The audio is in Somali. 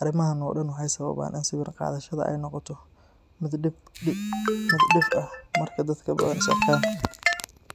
Arrimahan oo dhan waxay sababaan in sawir qaadashada ay noqoto mid dhif ah marka dadka Badhan is arkaan.